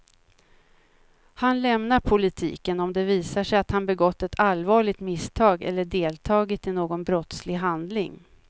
Han lämnar politiken om det visar sig att han begått ett allvarligt misstag eller deltagit i någon brottslig handling.